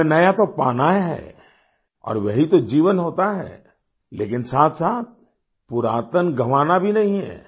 हमें नया तो पाना है और वही तो जीवन होता है लेकिन साथसाथ पुरातन गँवाना भी नहीं है